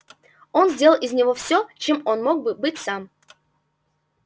он сделал из него все чем он мог бы быть сам